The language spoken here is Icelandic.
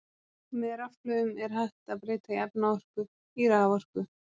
Með rafhlöðum er hægt að breyta efnaorku í raforku.